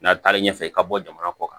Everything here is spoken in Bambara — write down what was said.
N'a taar'i ɲɛfɛ i ka bɔ jamana kɔ kan